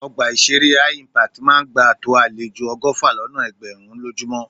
Ọgbà ìṣeré Hi-Impact máa ń gbà tó àlejò ọgọ́fà lọ́nà ẹgbẹ̀rún lójúmọ́.